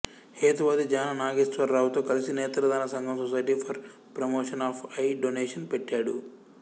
హేతువాది జాన నాగేశ్వరరావుతో కలిసి నేత్రదాన సంఘం society for promotion of eye donation పెట్టాడు